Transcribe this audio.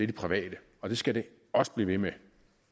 de private og det skal det også blive ved med